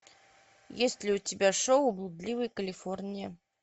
есть ли у тебя шоу блудливая калифорния